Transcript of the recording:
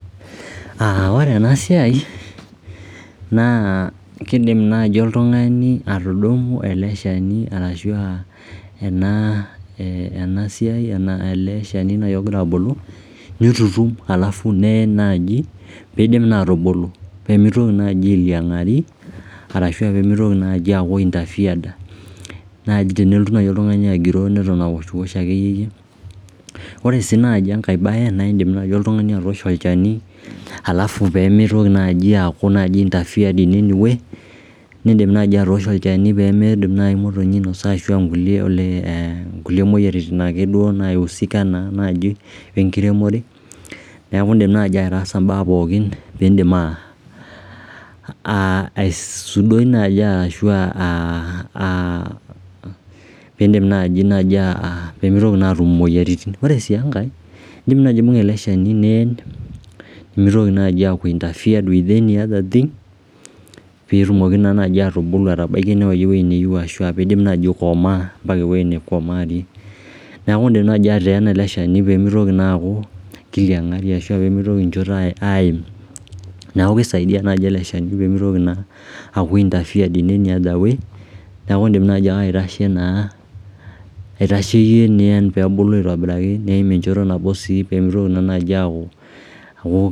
Ore ena siai naa kidim naaji oltungani atudumu ele shani ashu aa ena siai ele shani nai ogira abulu nitutum neyen naji peisim atubulu peemitoki ainyala peemitoki alingari arashu peemitoki aaku interfeared ji tenelotu nai oltungani agiroo neton awoshiwosh akeyie Ore naji enkae bae naa iindim nai oltungani atoosho olchani peemitoki aaku interfered in any way nii'dim nai atoosho olchani pee miidim imotonyi ainosa ashu aa ngulie moyiaritin naiusika naa naaji enkiremore niaku iindim nai ataasa mbaa pookin piin'dimaa aisudoi naji ashu peemitoki naa aatum imuoyiaritin Ore sii enkae naa in'dim aibunga ele shani niyen nimitoki nai aaku interfeared with any other thing peetumoki naa nai atubulu metabaiki ewuei niyieu ashu ikomaa mbaka eneikomaarie Niaku in'dim nai ateena ele shani peemitoki ailinga ashe peemitoki enjoto aim niaku kisaidia nai ele shani piimitoki naa aku interfeared ina any other way niaku in'dim nai ake aitasheyie naa niyen enchoto nabo sii